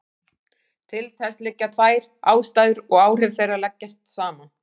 Til þess liggja tvær ástæður og áhrif þeirra leggjast saman.